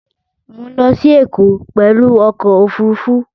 Mọ̀ ń lọ sí Ẹ̀kọ́ pẹ̀lú ọkọ̀ Òfurufú